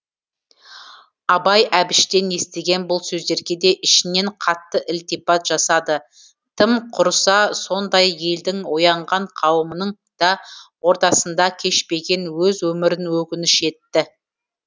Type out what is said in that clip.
абай әбіштен естіген бұл сөздерге де ішінен қатты ілтипат жасады тым құрыса сондай елдің оянған қауымының да ортасында кешпеген өз өмірін өкініш етті